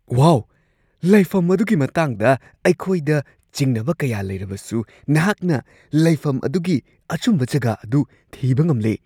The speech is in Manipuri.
ꯋꯥꯎ! ꯂꯩꯐꯝ ꯑꯗꯨꯒꯤ ꯃꯇꯥꯡꯗ ꯑꯩꯈꯣꯏꯗ ꯆꯤꯡꯅꯕ ꯀꯌꯥ ꯂꯩꯔꯕꯁꯨ ꯅꯍꯥꯛꯅ ꯂꯩꯐꯝ ꯑꯗꯨꯒꯤ ꯑꯆꯨꯝꯕ ꯖꯒꯥ ꯑꯗꯨ ꯊꯤꯕ ꯉꯝꯂꯦ ꯫